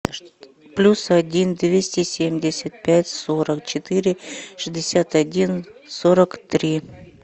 плюс один двести семьдесят пять сорок четыре шестьдесят один сорок три